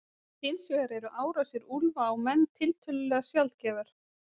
Hins vegar eru árásir úlfa á menn tiltölulega sjaldgæfar.